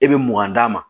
E bɛ mugan d'a ma